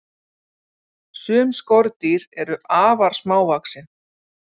Sum skordýr eru afar smávaxin.